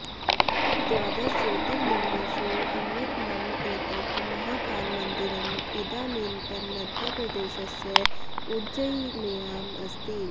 द्वादश ज्योतिर्लिङ्गेषु अन्यतमम् एतत् महाकालमन्दिरम् इदानीन्तनमध्यप्रदेशस्य उज्जयिन्याम् अस्ति